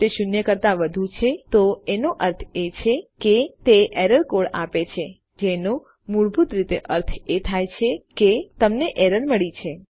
જો તે શૂન્ય કરતાં વધુ છે તો એનો અર્થ એ છે કે તે એરર કોડ આપે છે જેનો મૂળભૂત રીતે અર્થ એ થાય કે તમને એરર મળી છે